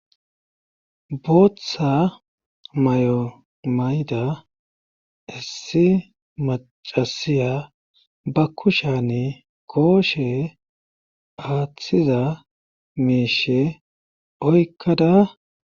Booththa may7omayda issi macasiya ba kushani kooshe aaththiza miishe oykkada,